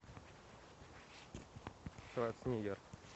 шварценеггер